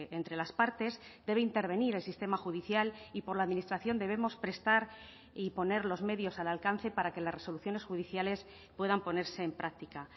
entre las partes debe intervenir el sistema judicial y por la administración debemos prestar y poner los medios al alcance para que las resoluciones judiciales puedan ponerse en práctica